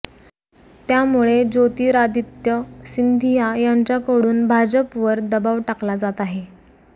त्यामुळे ज्योतिरादित्य सिंधिया यांच्याकडून भाजपवर दबाव टाकला जात आहे